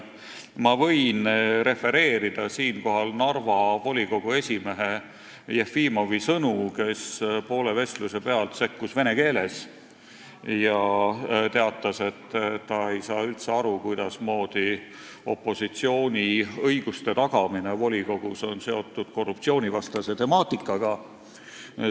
Ma võin refereerida Narva volikogu esimehe Jefimovi sõnu, kes poole vestluse pealt vene keeles sekkus ja teatas, et ta ei saa üldse aru, kuidas on opositsiooni õiguste tagamine volikogus seotud korruptsioonivastase temaatikaga.